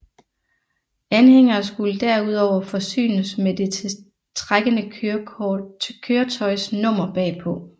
Anhængere skulle derudover forsynes med det trækkende køretøjs nummer bagpå